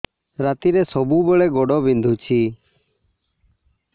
ରାତିରେ ସବୁବେଳେ ଗୋଡ ବିନ୍ଧୁଛି